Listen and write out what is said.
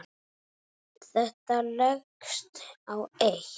Þetta leggst á eitt.